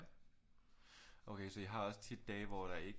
Okay så I har også tit dage hvor der ikke